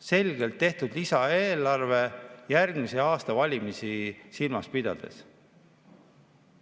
Selgelt on lisaeelarve tehtud järgmise aasta valimisi silmas pidades.